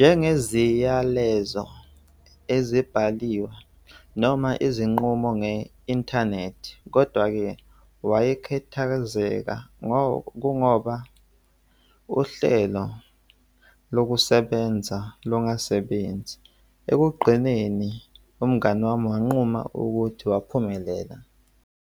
njengeziyalezo ezibhaliwe noma izinqumo nge-inthanethi. Kodwa-ke wayekhethazeka kungoba uhlelo lokusebenza lokungasebenzi. Ekugqineni, umngani wami wanquma ukuthi waphumelela.